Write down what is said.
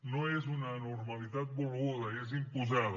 no és una anormalitat volguda és imposada